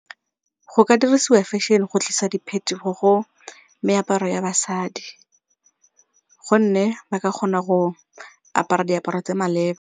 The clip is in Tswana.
Go ka dirisiwa fashion go tlisa diphetogo go meaparo ya basadi gomme ba ka kgona go apara diaparo tse maleba.